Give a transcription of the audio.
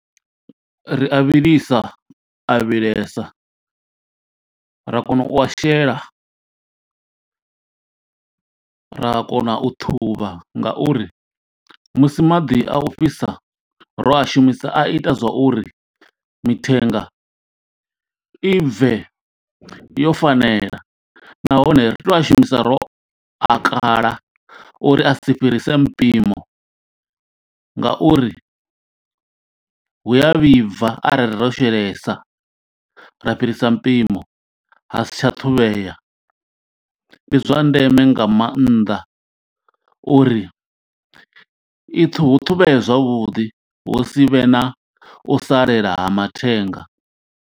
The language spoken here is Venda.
Ri a vhilisa a vhilesa ra kona u a shela, ra kona u ṱhuvha ngauri musi maḓi a u fhisa ro a shumisa a ita zwa uri mithenga i bve yo fanela nahone ri tea u a shumisa ro a kala uri a si fhirisele mpimo ngauri hu a vhibva arali ro shelesa ra fhirisa mpimo ha si tsha ṱhuvhea. Ndi zwa ndeme nga mannḓa uri i ṱhuhu hu ṱhuvhule zwavhuḓi hu si vhe na u salela ha mathenga.